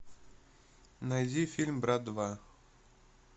найди фильм брат два